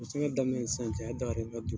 U daminɛ ni sisan cɛ a ye